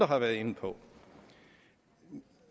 har været inde på